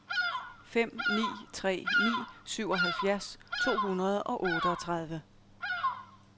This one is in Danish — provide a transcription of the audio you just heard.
fem ni tre ni syvoghalvfjerds to hundrede og otteogtredive